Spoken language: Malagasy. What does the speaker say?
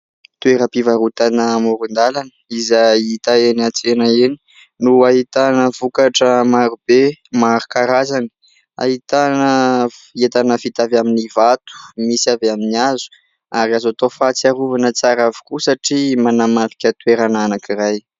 Toeram-pivarotana amoron-dalana izay hita eny an-tsena eny no ahitana vokatra marobe maro karazany. Ahitana entana vita avy amin'ny vato, misy avy amin'ny hazo ary azo atao fahatsiarovana tsara avokoa satria manamarika toerana anankiray.